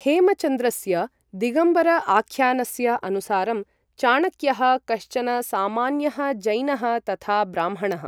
हेमचन्द्रस्य दिगम्बर आख्यानस्य अनुसारं, चाणक्यः कश्चन सामान्यः जैनः तथा ब्राह्मणः।